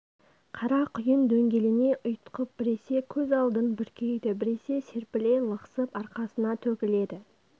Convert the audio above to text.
қара құйын дөңгелене ұйтқып біресе көз алдын бүркейді біресе серпіле лықсып арқасына төгіледі